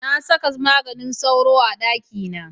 Na saka maganin sauro a ɗakina.